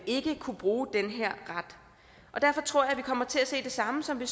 ikke kunne bruge den her ret og derfor tror jeg vi kommer til at se det samme som vi